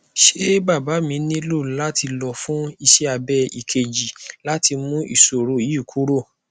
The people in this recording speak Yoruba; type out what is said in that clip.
se baba mi nilo lati lo fun ise abe ikeji lati mu isoro yi kuro